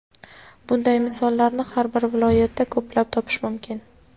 Bunday misollarni har bir viloyatda ko‘plab topish mumkin.